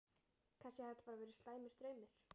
Kannski hafði þetta bara verið slæmur draumur.